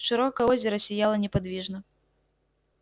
широкое озеро сияло неподвижно